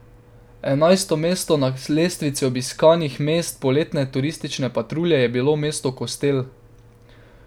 Enajsto mesto na lestvici obiskanih mest poletne turistične patrulje je bilo mesto Kostel.